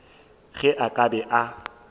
ge a ka be a